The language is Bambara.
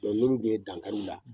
N'olu dun ye dankari u la